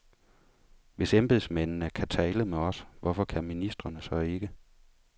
Hvis embedsmændene kan tale med os, hvorfor kan ministrene så ikke.